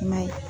I m'a ye